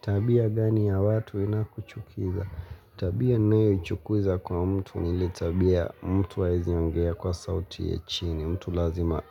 Tabia gani ya watu inakuchukiza? Tabia nayo ichukuza kwa mtu ni ile tabia mtu haeizi ongea kwa sauti ya chini. Mtu lazima